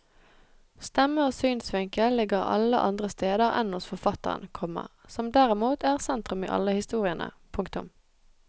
Stemme og synsvinkel ligger alle andre steder enn hos forfatteren, komma som derimot er sentrum i alle historiene. punktum